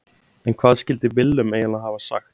En hvað skildi Willum eiginlega hafa sagt?